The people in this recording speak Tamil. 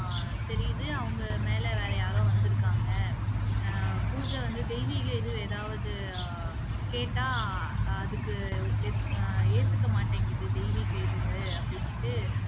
தெரியுது அவங்க மேல வேற யாரோ வந்துருக்காங்க பூஜை வந்து தெய்வீக இது எதாவது கேட்டா அதுக்கு இப் அ ஏத்துக்க மாட்டிக்குது தெய்வீக இது அப்படின்னுட்டு